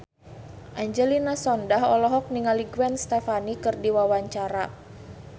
Angelina Sondakh olohok ningali Gwen Stefani keur diwawancara